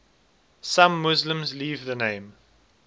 some muslims leave the name